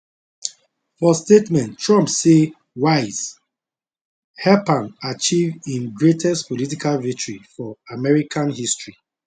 for statement trump say wiles help am achieve im greatest political victory for american history